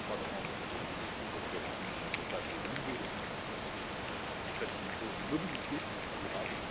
travaillons étroitement avec la BEI et les autres acteurs en vue de mettre en place de nouveaux instruments financiers qui faciliteront une mobilité durable.